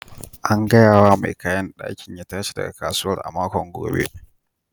An gaya wa mai kayan daki ya tashi daga kasuwar a makon gobe.